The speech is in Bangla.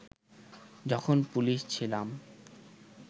যখন পুলিশ ছিলাম